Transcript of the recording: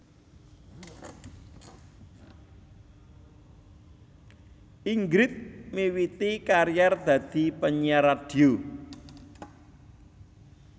Ingrid miwiti karier dadi penyiar radio